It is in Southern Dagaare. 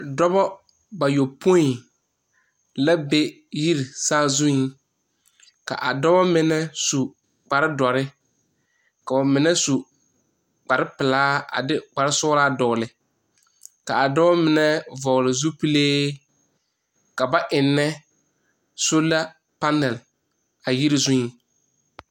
Dɔbɔ bayopoi la be yiri saazuŋ. Ka a dɔbɔ mine su kpare doɔre, ka ba mine su kpare peleaa a de kpare sɔgelaa dɔgele. Ka a dɔbɔ mine vɔgele zupile ka ba ennɛ sola panɛl a yiri zuŋ.